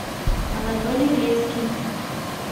анатолий блескин